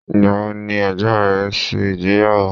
Ìgbà wo ni ẹ̀gbọ́n rẹ ṣe ìgbéyàwó?